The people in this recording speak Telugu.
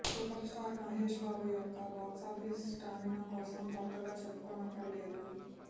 సూపర్ స్టార్ మహేష్ బాబు యొక్క బాక్సాఫీస్ స్టామినా కోసం కొత్తగా చెప్పుకోనక్కర్లేదు